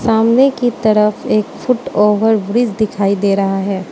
सामने की तरफ एक फुट ओवरब्रिज दिखाई दे रहा है।